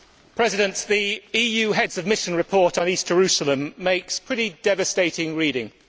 Mr President, the EU Heads of Mission report on East Jerusalem makes pretty devastating reading.